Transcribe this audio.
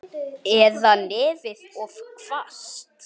Eða nefið of hvasst.